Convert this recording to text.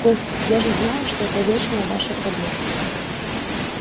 костя я же знаю что это вечная ваша проблема